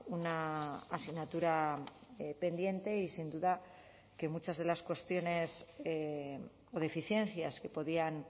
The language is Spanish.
una asignatura pendiente y sin duda que muchas de las cuestiones o deficiencias que podían